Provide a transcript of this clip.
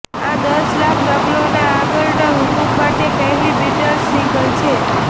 આ દસ લાખ નકલોના આગળના હુકમ માટે પહેલી બીટલ્સ સિંગલ છે